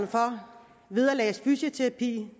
for vederlagsfri fysioterapi